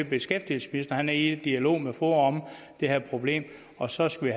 beskæftigelsesministeren han er i dialog med foa om det her problem og så skal